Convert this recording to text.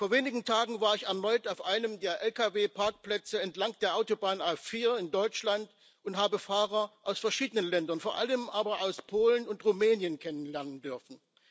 Vor wenigen Tagen war ich erneut auf einem der Lkw Parkplätze entlang der Autobahn A4 in Deutschland und habe Fahrer aus verschiedenen Ländern, vor allem aber aus Polen und Rumänien, kennenlernen dürfen.